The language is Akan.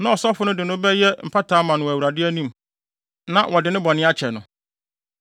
Na ɔsɔfo no de no bɛyɛ mpata ama no wɔ Awurade anim na wɔde ne bɔne akyɛ no.”